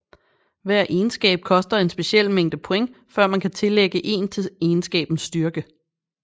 Hver egenskab koster en speciel mængde point før man kan tillægge 1 til egenskabens styrke